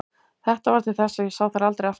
Þetta varð til þess að ég sá þær aldrei aftur.